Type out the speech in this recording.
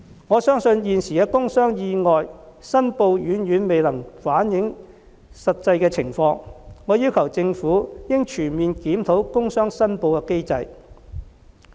我相信現時的工傷意外申報遠遠未能反映實際情況，我要求政府應全面檢討工傷申報機制。